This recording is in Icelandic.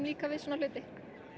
líkar við svona hluti